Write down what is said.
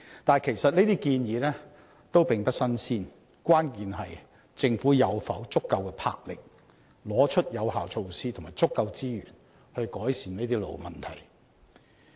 但是，這些建議其實並不"新鮮"，關鍵是政府是否有足夠魄力，拿出有效措施及足夠資源來改善這些老問題。